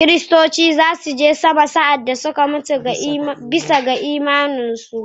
Kiristoci za su je sama sa’ad da suka mutu bisa ga imaninsu